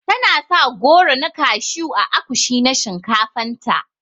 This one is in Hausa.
Tana sa goro na kashew ã akushi na shinkafan ta.